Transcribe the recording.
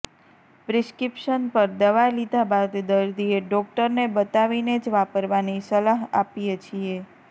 prescription પર દવા લીધા બાદ દર્દીએ ડોકટરને બતાવીને જ વાપરવાની સલાહ આપીએ છીએ